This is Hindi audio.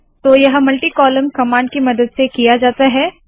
तो यह मल्टी कॉलम कमांड की मदद से किया जाता है